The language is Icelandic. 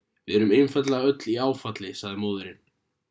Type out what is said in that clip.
við erum einfaldlega öll í áfalli sagði móðirin